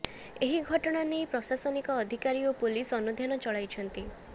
ଏହି ଘଟଣା ନେଇ ପ୍ରଶାସନିକ ଅଧିକାରୀ ଓ ପୋଲିସ ଅନୁଧ୍ୟାନ ଚଳାଇଛନ୍ତି